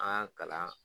An ka kalan